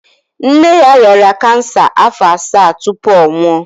Nne ya rịara cancer afọ assa tupu ọ nwụọ.